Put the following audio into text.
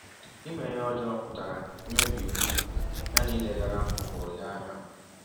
Ime ihe ọjọọ pụtara imebi iwụ ya na ileghara ụkpụrụ ya anya.